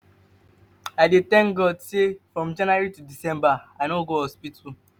i dey tank god sey from january to december i no go hospital.